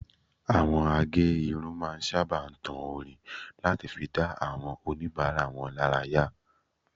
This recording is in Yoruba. Àwọn a gé irun máa ń sábà tan orin láti fi dá àwọn oníbàárà wọn lára yá